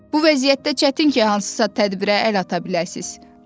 Bu vəziyyətdə çətin ki, hansısa tədbirə əl ata biləcəksiniz.